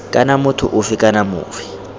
kana motho ofe kana ofe